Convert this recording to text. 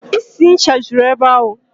Isi ncha juru ebe ahụ.